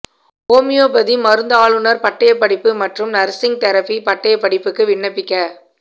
homeopathy மருந்தாளுநர் பட்டயப்படிப்பு மற்றும் நர்சிங் தெரபி பட்டயப் படிப்புக்கு விண்ணப்பிக்க